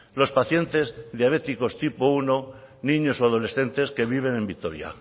los pacientes diabéticos tipo primero niños o adolescentes que viven en vitoria